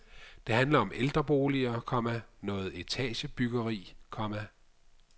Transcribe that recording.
Det handler om ældreboliger, komma noget etagebyggeri, komma